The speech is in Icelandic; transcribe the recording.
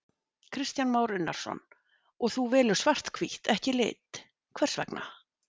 Kristján Már Unnarsson: Og þú velur svart-hvítt, ekki lit, hvers vegna?